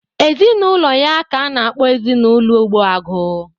Ezinụlọ ya ka a na-akpọ ezinụlọ Ogbuagu